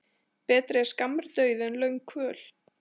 Betri er skammur dauði en löng kvöl.